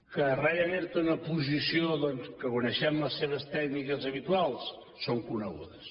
que ryanair té una posició doncs que coneixem les seves tècniques habituals són conegudes